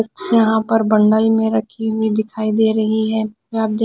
यहाँ पर बंडल में रखी हुई दिखाई दे रही है या --